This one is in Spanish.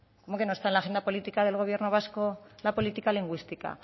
cómo que no está en la agenda política del gobierno vasco la política lingüística